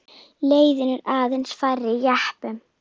Leiðin er aðeins fær jeppum.